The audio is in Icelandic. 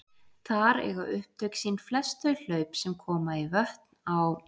Þar eiga upptök sín flest þau hlaup sem koma í vötn á